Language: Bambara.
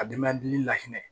A den mɛ dimi lahinɛ